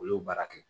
Olu baara kɛ